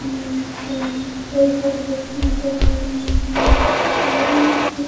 कई सारे बुक्स नजर आ रहे हैं यहां एक्सपायरिंग --